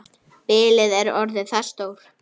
Bilið er orðið það stórt.